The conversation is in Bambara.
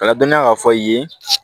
Ka dɔnna k'a fɔ i ye